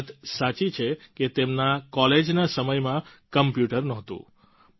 એ વાત સાચી છે કે તેમના કોલેજના સમયમાં કોમ્પ્યુટર નહોતું